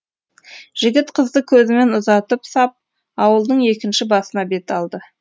жігіт қызды көзімен ұзатып сап ауылдың екінші басына бет алды